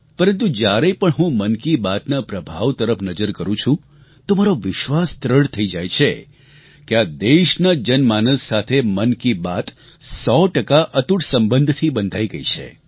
પરંતુ જ્યારે પણ હું મન કી બાતના પ્રભાવ તરફ નજર કરું છું તો મારો વિશ્વાસ દ્રઢ થઈ જાય છે કે આ દેશના જનમાનસ સાથે મન કી બાત સો ટકા અતૂટ સંબંધથી બંધાઈ ગઈ છે